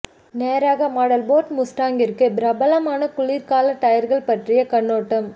நேராக model Ford முஸ்டாங்கிற்கு பிரபலமான குளிர்கால டயர்கள் பற்றிய கண்ணோட்டம்